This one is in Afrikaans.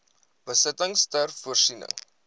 besittings ter voorsiening